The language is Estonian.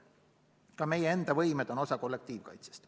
Ka meie enda võimed on osa kollektiivkaitsest.